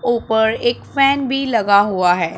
ऊपर एक फैन भी लगा हुआ है।